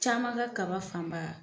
Caman ka kaba fanba